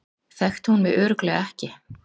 Þekkti hún mig örugglega ekki?